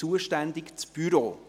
Zuständig ist dann das Büro.